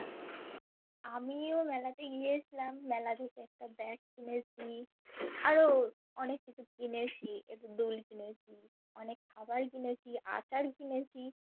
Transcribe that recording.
আমিও মেলা তে গিয়েছিলাম মেলা থেকে একটা Bag কিনেছি আরো অনেক কিছু কিনেছি, একটা দুল কিনেছি, অনেক খাবার কিনেছি, আচার কিনেছি